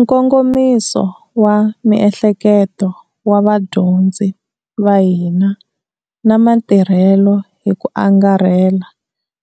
Nkongomiso wa miehleketo wa vadyondzi va hina na matirhelo hi ku angarhela